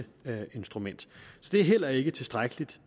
det er heller ikke tilstrækkelig